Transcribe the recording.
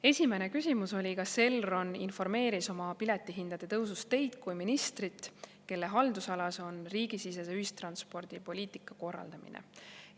Esimene küsimus: "Kas Elron informeeris oma piletihindade tõusust Teid kui ministrit, kelle haldusalas on riigisisese ühistranspordi poliitika korraldamine?